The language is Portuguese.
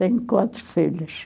Tenho quatro filhas.